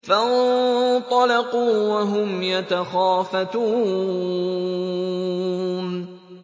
فَانطَلَقُوا وَهُمْ يَتَخَافَتُونَ